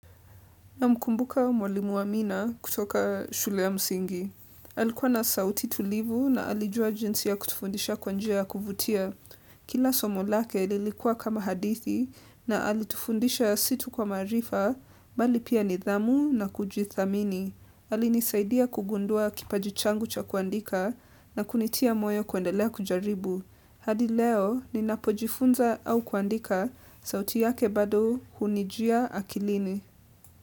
Namkumbuka mwalimu wa mina kutoka shule ya msingi. Alikuwa na sauti tulivu na alijua jinsi ya kutufundisha kwa njia ya kuvutia. Kila somo lake lilikua kama hadithi na alitufundisha si tu kwa maarifa, bali pia nidhamu na kujithamini. Alinisaidia kugundua kipaji changu cha kuandika na kunitia moyo kuendelea kujaribu. Hadi leo, ninapojifunza au kuandika sauti yake bado hunijia akilini.